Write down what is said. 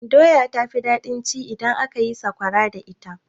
Doya ta fi daɗin ci idan aka yi sakwara da ita.